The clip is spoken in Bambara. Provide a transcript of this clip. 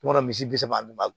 I b'a dɔn misi bi saba bi balo